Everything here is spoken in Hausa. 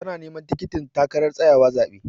Tana neman tikitin takarar tsayawa zaɓe.